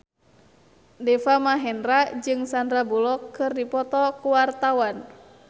Deva Mahendra jeung Sandar Bullock keur dipoto ku wartawan